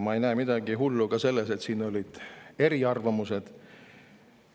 Ma ei näe midagi hullu ka selles, et siin olid eriarvamused.